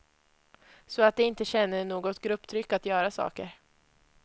Så att de inte känner något grupptryck att göra saker.